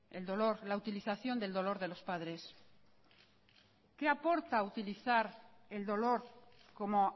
el dolor la utilización del dolor de los padres qué aporta utilizar el dolor como